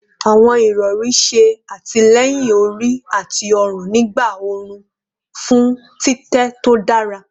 Awọn irọri ṣe atilẹyin ori ati ọrun nigba orun fun titete to dara